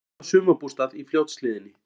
Skotið á sumarbústað í Fljótshlíðinni